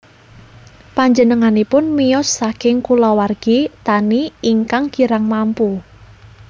Panjenenganipun miyos saking kulawargi tani ingkang kirang mampu